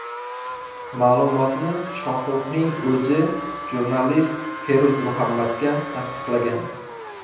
Ma’lumotni Shohruxning o‘zi jurnalist Feruz Muhammadga tasdiqlagan.